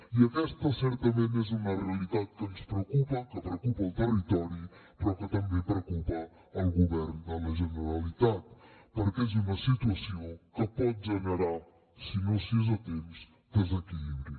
i aquesta certament és una realitat que ens preocupa que preocupa al territori però que també preocupa al govern de la generalitat perquè és una situació que pot generar si no s’hi és a temps desequilibri